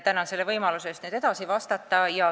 Tänan võimaluse eest edasi vastata!